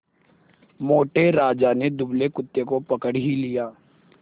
मोटे राजा ने दुबले कुत्ते को पकड़ ही लिया